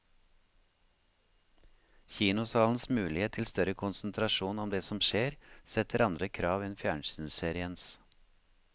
Kinosalens mulighet til større konsentrasjon om det som skjer, setter andre krav enn fjernsynsseriens.